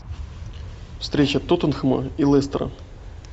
встреча тоттенхэма и лестера